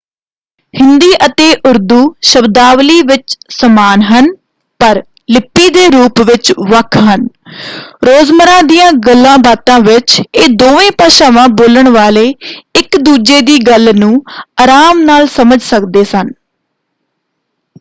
ਹਿੰਦੀ ਅਤੇ ਉਰਦੂ ਸ਼ਬਦਾਵਲੀ ਵਿੱਚ ਸਮਾਨ ਹਨ ਪਰ ਲਿਪੀ ਦੇ ਰੂਪ ਵਿੱਚ ਵੱਖ ਹਨ; ਰੋਜ਼ਮਰ੍ਹਾ ਦੀਆਂ ਗੱਲਾਂਬਾਤਾਂ ਵਿੱਚ ਇਹ ਦੋਵੇਂ ਭਾਸ਼ਾਵਾਂ ਬੋਲਣ ਵਾਲੇ ਇੱਕ ਦੂਜੇ ਦੀ ਗੱਲ ਨੂੰ ਆਰਾਮ ਨਾਲ ਸਮਝ ਸਕਦੇ ਹਨ।